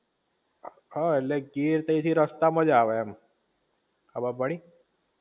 હા એટલે ગીર તય થી રસ્તા મા જ આવે મ ખબર પડી